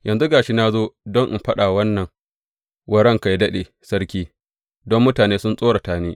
Yanzu ga shi na zo don in faɗa wannan wa ranka yă daɗe sarki, don mutane sun tsorata ni.